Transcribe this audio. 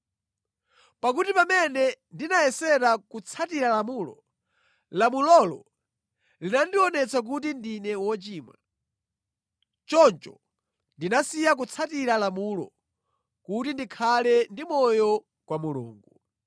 “Pakuti pamene ndinayesera kutsatira lamulo, lamulolo linandionetsa kuti ndine wochimwa. Choncho ndinasiya kutsatira lamulo kuti ndikhale ndi moyo kwa Mulungu.